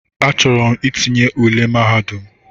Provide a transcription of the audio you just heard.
Achọrọ m itinye ụle mahadum.